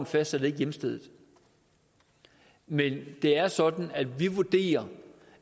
fastsætter hjemstedet men det er sådan at vi vurderer